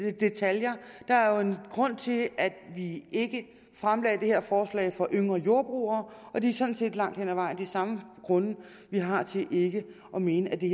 ikke detaljer der er jo en grund til at vi ikke fremsatte det her forslag for yngre jordbrugere og det er sådan set langt hen ad vejen de samme grunde vi har til ikke at mene at det